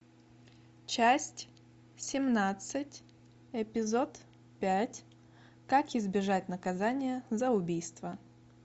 часть семнадцать эпизод пять как избежать наказания за убийство